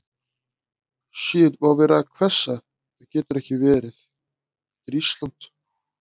Það var að hvessa, heyrðist honum, loftið fullt af eirðarlausu gnauði.